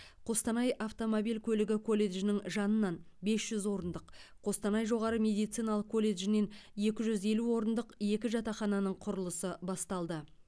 қостанай автомобиль көлігі колледжінің жанынан бес жүз орындық қостанай жоғары медициналық колледжінен екі жүз елу орындық екі жатақхананың құрылысы басталды